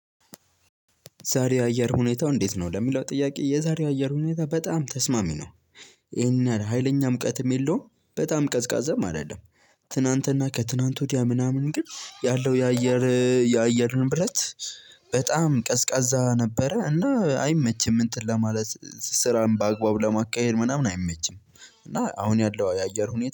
ዛሬ የአየር ሁኔታው እንዴት ነው? ለሚለው ጥያቄ የዛሬ አየር ሁኔታ በጣም ተስማሚ ነው። ይሄንን ሀይለኛ ሙቀትም የለውም በጣም ቀዝቃዛም አይደለም። ትናንትና ከትናንት ወዲያ ምናምን ግን ያለው። የአየር ንብረት በጣም ቀዝቃዛ ነበረ እና አይመችም እንትን ለማለት ስራን በአግባብ ለማካሄድ ምናምን አይመችም። እና አሁን ያለው የአየር ሁኔታ